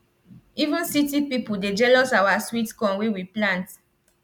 even city people dey jealous our sweet corn wey we plant